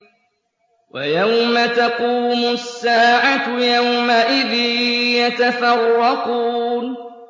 وَيَوْمَ تَقُومُ السَّاعَةُ يَوْمَئِذٍ يَتَفَرَّقُونَ